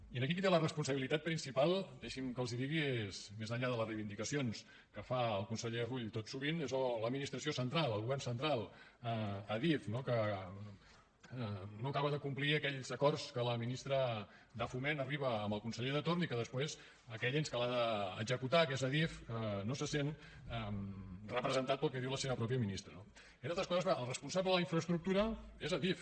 i aquí qui té la responsabilitat principal deixi’m que els ho digui és més enllà de les reivindicacions que fa el conseller rull tot sovint l’administració central el govern central adif no que no acaba de complir aquells acords a què la ministra de foment arriba amb el conseller de torn i que després aquell ens que la d’executar que és adif no se sent representat pel que diu la seva pròpia ministra no entre altres coses perquè el responsable de la infraestructura és adif